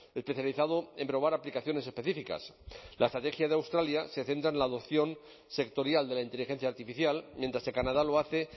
especializado en probar aplicaciones específicas la estrategia de australia se centra en la adopción sectorial de la inteligencia artificial mientras que canadá lo hace